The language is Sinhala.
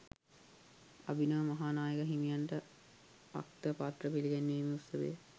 අභිනව මහා නායක හිමියන්ට අක්තපත්‍ර පිළිගැන්වීමේ උත්සවය